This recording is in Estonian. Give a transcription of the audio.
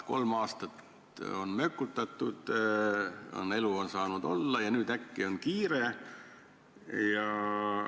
Kolm aastat on mökutatud, elu on saanud edasi minna, aga nüüd äkki on kiire.